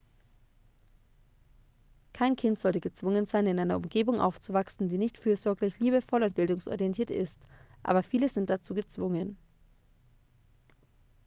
kein kind sollte gezwungen sein in einer umgebung aufzuwachsen die nicht fürsorglich liebevoll und bildungsorientiert ist aber viele sind dazu gezwungen